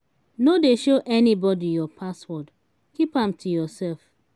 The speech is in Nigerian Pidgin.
no dey show anybody your password. keep am to yourself.